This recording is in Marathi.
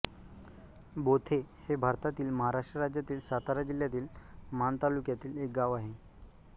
बोथे हे भारतातील महाराष्ट्र राज्यातील सातारा जिल्ह्यातील माण तालुक्यातील एक गाव आहे